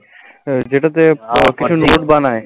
যেটাতে কিছু note বানায়